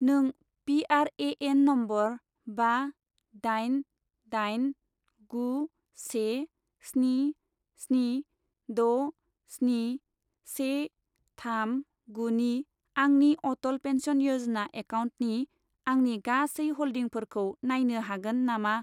नों PRAN. Number बा दाइन दाइन गु से स्नि स्नि द' स्नि से थाम गु नि आंनि अटल पेन्सन य'जना एकाउन्टनि आंनि गासै हल्डिंफोरखौ नायनो हागोन नामा?